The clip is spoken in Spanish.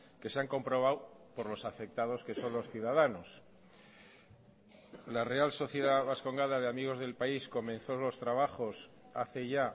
que se han comprobado por los afectados que son los ciudadanos la real sociedad bascongada de amigos del país comenzó los trabajos hace ya